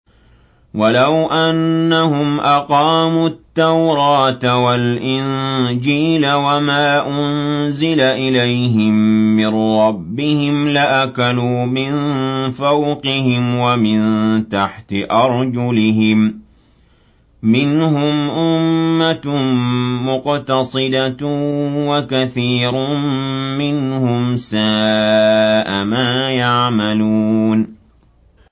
وَلَوْ أَنَّهُمْ أَقَامُوا التَّوْرَاةَ وَالْإِنجِيلَ وَمَا أُنزِلَ إِلَيْهِم مِّن رَّبِّهِمْ لَأَكَلُوا مِن فَوْقِهِمْ وَمِن تَحْتِ أَرْجُلِهِم ۚ مِّنْهُمْ أُمَّةٌ مُّقْتَصِدَةٌ ۖ وَكَثِيرٌ مِّنْهُمْ سَاءَ مَا يَعْمَلُونَ